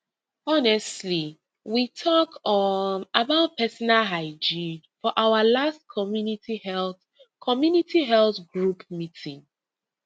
honestly we talk um about personal hygiene for our last community health community health group meeting